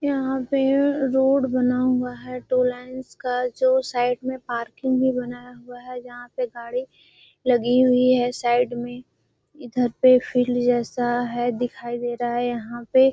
यहाँ पे रोड बना हुआ है टू लाइन्स का जो साइड में पार्किंग भी बनाया हुआ है जहाँ पे गाड़ी लगी हुई है साइड में इधर पे फील्ड जैसा है दिखाई दे रहा है यहाँ पे --